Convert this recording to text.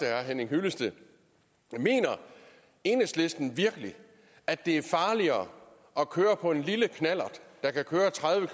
herre henning hyllested mener enhedslisten virkelig at det er farligere at køre på en lille knallert der kan køre tredive